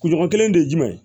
Kunɲɔgɔn kelen de ye jumɛn ye